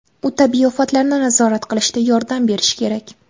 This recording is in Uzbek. U tabiiy ofatlarni nazorat qilishda yordam berishi kerak.